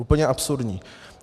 Úplně absurdní.